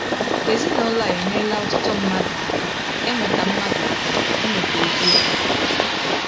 Ezinụlọ a enyerela ọtụtụ mmadụ aka ịmụta mmadụ aka ịmụta eziokwu.